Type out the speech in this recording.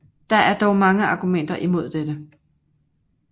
Der er dog mange argumenter imod dette